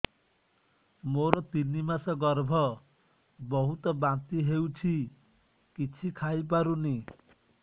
ମୋର ତିନି ମାସ ଗର୍ଭ ବହୁତ ବାନ୍ତି ହେଉଛି କିଛି ଖାଇ ପାରୁନି